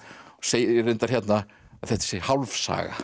segir reyndar hérna að þetta sé hálf saga